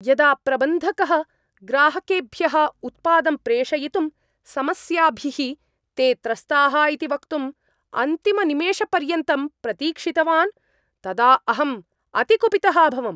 यदा प्रबन्धकः ग्राहकेभ्यः उत्पादं प्रेषयितुं समस्याभिः ते त्रस्ताः इति वक्तुं अन्तिमनिमेषपर्यन्तं प्रतीक्षितवान् तदा अहं अतिकुपितः अभवम्।